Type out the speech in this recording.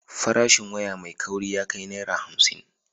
Farashin waya mai kauri ya kai Naira hamsin.